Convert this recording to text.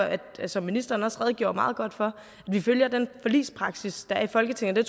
som ministeren også redegjorde meget godt for at vi følger den forligspraksis der er i folketinget og